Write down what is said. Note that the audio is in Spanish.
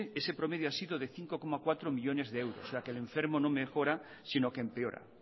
ese promedio ha sido de cinco coma cuatro millónes de euros o sea que el enfermo no mejora sino que empeora